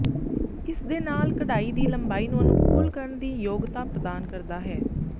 ਇਸ ਦੇ ਨਾਲ ਕਢਾਈ ਦੀ ਲੰਬਾਈ ਨੂੰ ਅਨੁਕੂਲ ਕਰਨ ਦੀ ਯੋਗਤਾ ਪ੍ਰਦਾਨ ਕਰਦਾ ਹੈ